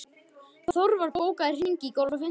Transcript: Þorvar, bókaðu hring í golf á fimmtudaginn.